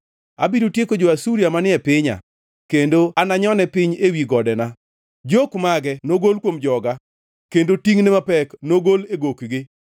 Abiro tieko jo-Asuria manie pinya, kendo ananyone piny ewi godena. Jok mage nogol kuom joga kendo tingʼne mapek nogol e gok-gi.”